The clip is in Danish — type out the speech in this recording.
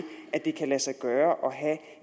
at det kan lade sig gøre at have